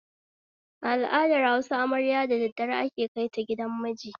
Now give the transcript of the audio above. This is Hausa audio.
A al'adar Hausa, amarya da daddare ake kaita gidan miji